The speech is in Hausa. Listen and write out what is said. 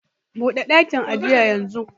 Bude dakin ajin yanzu